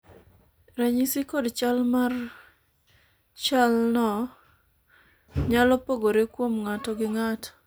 ranyisi kod chal mar chal no nyalo pogore kuom ng'ato gi ng'ato